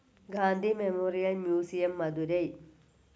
Gandhi Memorial Museum, Madurai.